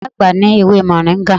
Iya agba ni ewe moringa